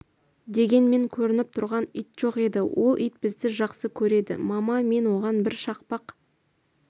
дегенмен көрініп тұрған ит жоқ еді ол ит бізді жақсы көреді мама мен оған бір шақпақ